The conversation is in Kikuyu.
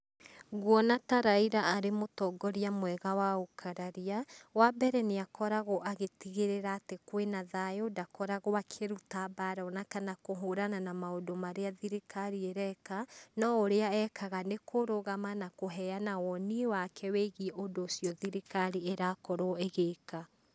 Ngũona ta Raila arĩ mũtongoria mwega wa ũkararia, wa mbere, niakoragwo agĩtigĩrĩra atĩ kwina thayu. Ndakoragwo akĩrũta mbara onakana kũhũrana na maũndũ marĩa thirikari ĩreka, no ũrĩa ekaga nĩ kũrũgama na kũheana woni wake wĩgie ũndũ ũcio thirikari ĩrakorwo ĩgĩka.